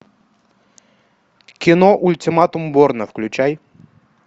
кино ультиматум борна включай